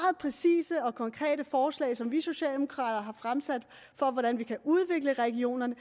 præcise og konkrete forslag som vi socialdemokrater har fremsat for hvordan vi kan udvikle regionerne